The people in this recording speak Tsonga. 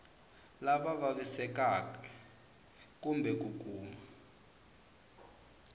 lava vavisekaka kumbe ku kuma